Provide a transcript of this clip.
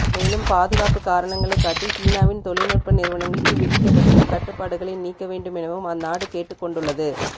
மேலும் பாதுகாப்பு காரணங்களைக் காட்டி சீனாவின் தொழில்நுட்ப நிறுவனங்களுக்கு விதிக்கப்பட்டுள்ள கட்டுப்பாடுகளை நீக்க வேண்டுமெனவும் அந்நாடு கேட்டுக் கொண்டுள்ளது